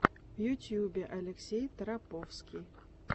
в ютьюбе алексей тараповский